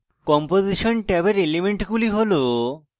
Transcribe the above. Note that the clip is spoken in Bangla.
composition ট্যাবের এলিমেন্টগুলি has: